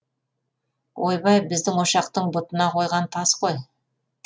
ойбай біздің ошақтың бұтына қойған тас қой